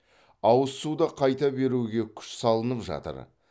ауыз суды қайта беруге күш салынып жатыр